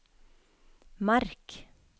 merk